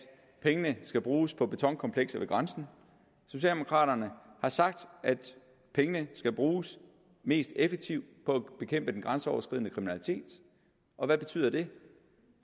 pengene skal bruges på betonkomplekser ved grænsen socialdemokraterne har sagt at pengene skal bruges mest effektivt på at bekæmpe den grænseoverskridende kriminalitet og hvad betyder det